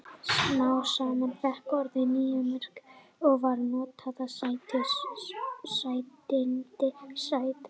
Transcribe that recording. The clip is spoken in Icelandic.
Smám saman fékk orðið nýja merkingu og var notað um sætindi, sæta mola.